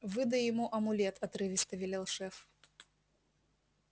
выдай ему амулет отрывисто велел шеф